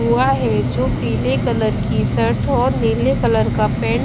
हुआ है जो पीले कलर की शर्ट और नीले कलर का पैंट --